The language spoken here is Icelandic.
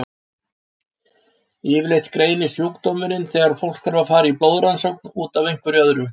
Yfirleitt greinist sjúkdómurinn þegar fólk þarf að fara í blóðrannsókn út af einhverju öðru.